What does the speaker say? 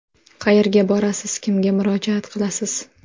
Qayerga borasiz, kimga murojaat qilasiz?